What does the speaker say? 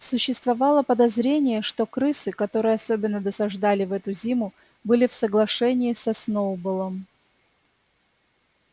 существовало подозрение что крысы которые особенно досаждали в эту зиму были в соглашении со сноуболлом